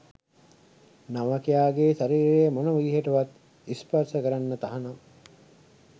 නවකයාගේ ශරීරය මොන විදිහකටවත් ස්පර්ශ කරන්න තහනම්